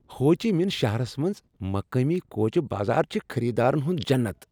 ہو چی مِن شہرس منز مقٲمی کوچہ بازار چھ خریدارن ہُند جنت ۔